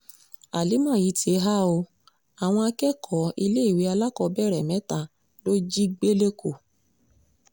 àlìmà yìí ti há ọ àwọn akẹ́kọ̀ọ́ iléèwé alákọ̀ọ́bẹ̀rẹ̀ mẹ́ta ló jí gbé lẹ́kọ̀ọ́